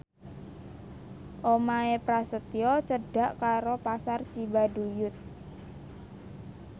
omahe Prasetyo cedhak karo Pasar Cibaduyut